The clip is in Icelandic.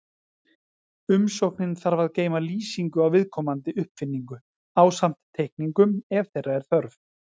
Umsóknin þarf að geyma lýsingu á viðkomandi uppfinningu, ásamt teikningum ef þeirra er þörf.